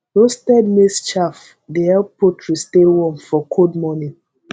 roasted maize chaff dey help poultry stay warm for cold morning